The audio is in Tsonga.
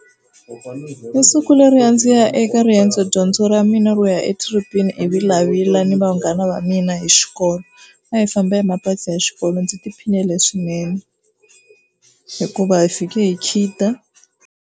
I siku leri a ndzi ya eka riendzo dyondzo ra mina ro ya etrip-ini eVilavila ni vanghana va mina hi xikolo a hi famba hi mabazi ya xikolo ndzi tiphinile swinene hikuva hi fike hi khida.